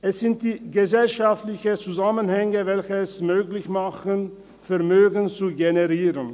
– Es sind die gesellschaftlichen Zusammenhänge, welche es möglich machen, Vermögen zu generieren.